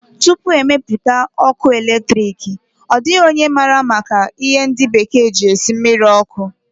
Tupu e mepụta ọkụ eletriki, ọ dịghị onye maara maka ihe ndi bekee ji esi mmiri ọkụ